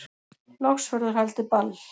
Loks verður haldið ball